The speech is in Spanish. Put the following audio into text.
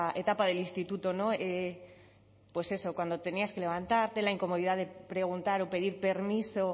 etapa del instituto pues eso cuando tenías que levantarte la incomodidad de preguntar o pedir permiso